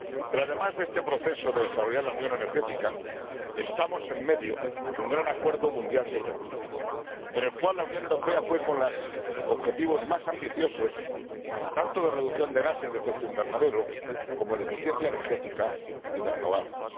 Pero, además de este proceso de desarrollo de la unión energética, estamos en medio de un gran acuerdo mundial sobre el clima, para el que la Unión Europea presentó los objetivos más ambiciosos, tanto de reducción de gases de efecto invernadero, como de eficiencia energética y de renovables.